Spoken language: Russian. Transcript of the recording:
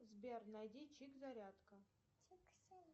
сбер найди чик зарядка